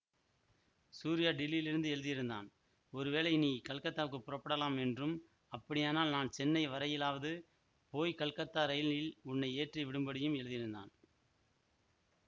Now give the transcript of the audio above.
சூரியா டில்லியிலேயிருந்து எழுதியிருந்தான் ஒருவேளை நீ கல்கத்தாவுக்குப் புறப்படலாம் என்றும் அப்படியானால் நான் சென்னை வரையிலாவது போய் கல்கத்தா ரயிலில் உன்னை ஏற்றி விடும்படியும் எழுதியிருந்தான்